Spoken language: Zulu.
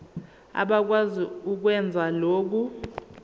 abakwazi ukwenza lokhu